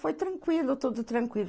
Foi tranquilo, tudo tranquilo.